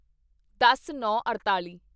ਦਸਨੌਂਅੜਤਾਲੀ